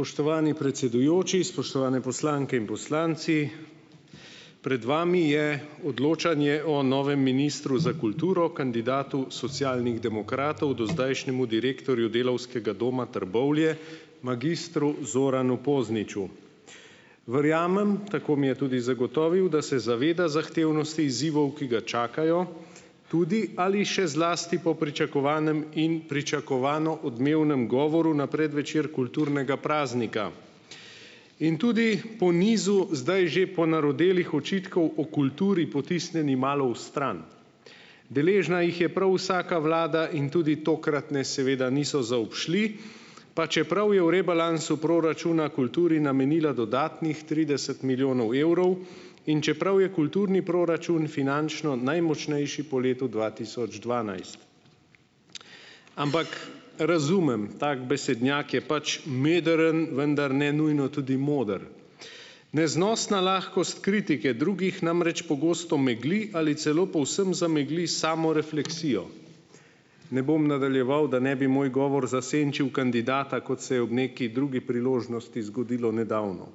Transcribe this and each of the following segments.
Spoštovani predsedujoči, spoštovane poslanke in poslanci! Pred vami je odločanje o novem ministru za kulturo, kandidatu Socialnih demokratov, dozdajšnjemu direktorju Delavskega doma Trbovlje, magistru Zoranu Pozniču. Verjamem, tako mi je tudi zagotovil, da se zaveda zahtevnosti izzivov, ki ga čakajo, tudi ali še zlasti pa v pričakovanem in pričakovano odmevnem govoru na predvečer kulturnega praznika. In tudi po nizu zdaj že ponarodelih očitkov o kulturi, potisnjeni malo v stran. Deležna jih je prav vsaka vlada in tudi tokratne seveda niso zaobšli, pa čeprav je v rebalansu proračuna kulturi namenila dodatnih trideset milijonov evrov in čeprav je kulturni proračun finančno najmočnejši po letu dva tisoč dvanajst. Ampak razumem, tak besednjak je pač modern, vendar ne nujno tudi moder. Neznosna lahkost kritike drugih namreč pogosto megli ali celo povsem zamegli samorefleksijo. Ne bom nadaljeval, da ne bi moj govor zasenčil kandidata, kot se je ob neki drugi priložnosti zgodilo nedavno.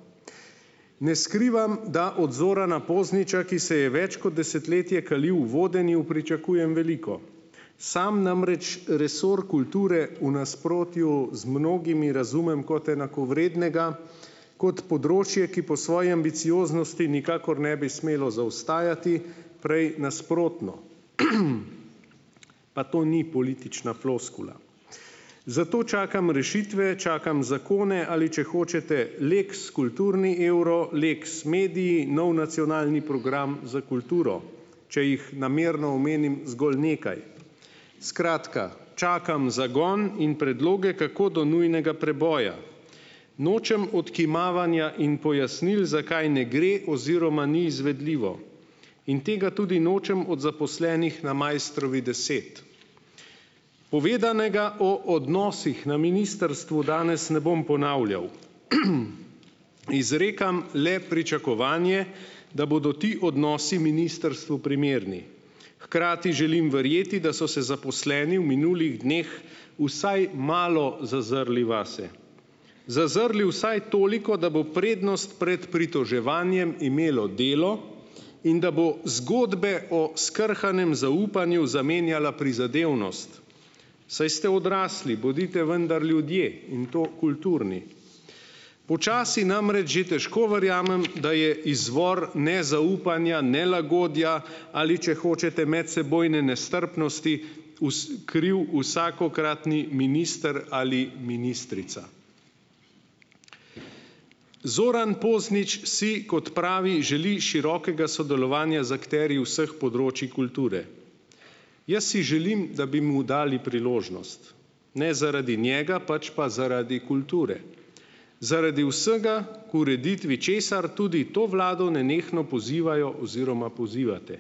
Ne skrivam, da od Zorana Pozniča, ki se je več kot desetletje kalil v vodenju, pričakujem veliko. Samo namreč resor kulture v nasprotju z mnogimi razumem kot enakovrednega, kot področje, ki po svoji ambicioznosti nikakor ne bi smelo zaostajati, prej nasprotno. Pa to ni politična floskula. Zato čakam rešitve, čakam zakone ali, če hočete, lex kulturni evro, lex mediji, nov nacionalni program za kulturo, če jih namerno omenim zgolj nekaj. Skratka, čakam zagon in predloge, kako do nujnega preboja. Nočem odkimavanja in pojasnil, zakaj ne gre oziroma ni izvedljivo. In tega tudi nočem od zaposlenih na Maistrovi deset. Povedanega o odnosih na ministrstvu danes ne bom ponavljal. Izrekam le pričakovanje, da bodo ti odnosi ministrstvu primerni. Hkrati želim verjeti, da so se zaposleni v minulih dneh vsaj malo zazrli vase. Zazrli vsaj toliko, da bo prednost pred pritoževanjem imelo delo in da bo zgodbe o skrhanem zaupanju zamenjala prizadevnost, saj ste odrasli, bodite vendar ljudje in to kulturni. Počasi namreč že težko verjamem, da je izvor nezaupanja, nelagodja ali, če hočete, medsebojne nestrpnosti kriv vsakokratni minister ali ministrica. Zoran Poznič si, kot pravi, želi širokega sodelovanja z akterji vseh področij kulture. Jaz si želim, da bi mu dali priložnost. Ne zaradi njega, pač pa zaradi kulture, zaradi vsega, k ureditvi česar tudi to vlado nenehno pozivajo oziroma pozivate.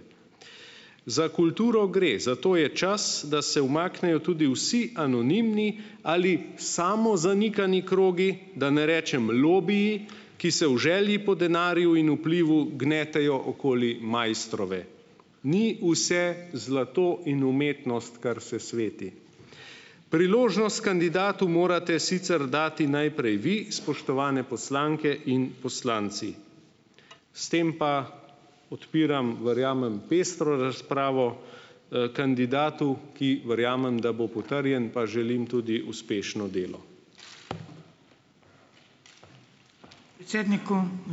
Za kulturo gre, zato je čas, da se umaknejo tudi vsi anonimni ali samozanikani krogi, da ne rečem lobiji, ki se v želji po denarju in vplivu gnetejo okoli Maistrove. Ni vse zlato in umetnost, kar se sveti. Priložnost kandidatu morate sicer dati najprej vi, spoštovane poslanke in poslanci. S tem pa odpiram, verjamem, pestro razpravo. Kandidatu, ki verjamem, da bo potrjen, pa želim tudi uspešno delo.